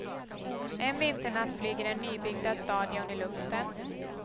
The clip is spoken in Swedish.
En vinternatt flyger den nybyggda stadion i luften.